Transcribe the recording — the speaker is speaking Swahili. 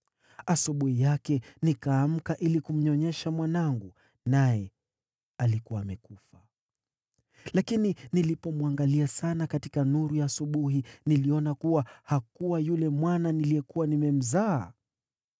Asubuhi yake, nikaamka ili kumnyonyesha mwanangu, naye alikuwa amekufa! Lakini nilipomwangalia sana katika nuru ya asubuhi, niliona kuwa hakuwa yule mwana niliyekuwa nimemzaa.”